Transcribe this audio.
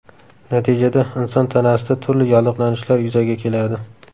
Natijada, inson tanasida turli yallig‘lanishlar yuzaga keladi.